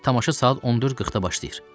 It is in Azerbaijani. Tamaşa saat 14:40-da başlayır.